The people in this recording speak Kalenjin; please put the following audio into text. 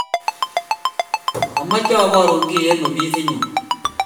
Amache abarun kiy eng ofisinyu